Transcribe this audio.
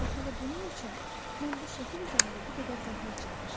Bax elə bunun üçün mən bu şəkil üzərində bu qədər zəhmət çəkmişəm.